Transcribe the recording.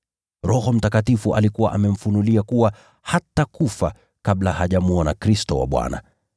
Roho Mtakatifu alikuwa amemfunulia kuwa hatakufa kabla hajamwona Kristo wa Bwana.